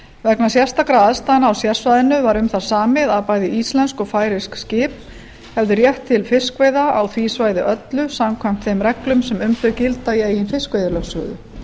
vegna sérstakra aðstæðna á sérsvæðinu var um það samið að bæði íslensk og færeysk skip hefðu rétt til fiskveiða á því svæði öllu samkvæmt þeim reglum sem um þau gilda í eigin fiskveiðilögsögu